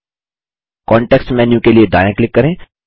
context menu के लिए दायाँ क्लिक करें